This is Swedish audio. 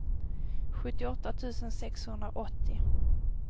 sjuttioåtta tusen sexhundraåttio